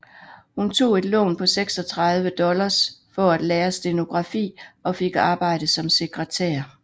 Hun tog et lån på 36 dollars for at lære stenografi og fik arbejde som sekretær